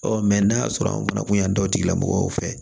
Ɔ n'a y'a sɔrɔ an fana kun y'an da o tigilamɔgɔw fɛ